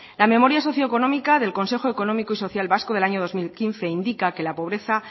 la memoria socio económica del consejo económico y social vasco del año dos mil quince indica que la pobreza